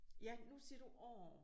Ja nu siger du orh